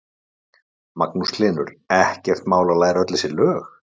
Magnús Hlynur: Ekkert mál að læra öll þessi lög?